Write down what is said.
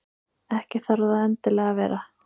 Ekki þarf það endilega að vera.